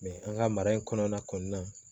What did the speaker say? an ka mara in kɔnɔna kɔni na